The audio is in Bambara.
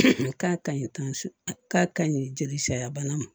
K'a kaɲi k'a ka ɲi jeli sariya bana ma